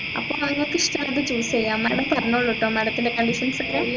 അപ്പൊ നിങ്ങൾക്ക് ഇഷ്ടമുള്ളത് choose ചെയ്യാം madam പറഞ്ഞോളൂട്ടോ madam തിന്റെ conditions ഒക്കെ